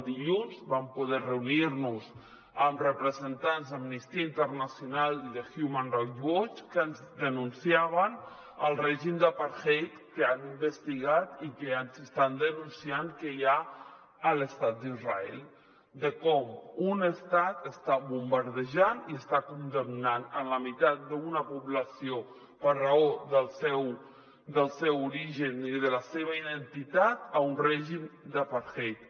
dilluns vam poder reunir·nos amb representants d’amnistia internacional i de human rights watch que ens denunciaven el règim d’apartheid que han investigat i que ens estan denunciant que hi ha a l’estat d’israel de com un estat està bombardejant i està condemnant la meitat d’una població per raó del seu origen i de la seva identitat a un règim d’apartheid